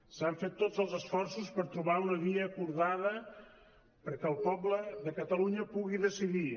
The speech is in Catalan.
s’han fet tots els esforços per trobar una via acordada perquè el poble de catalunya pugui decidir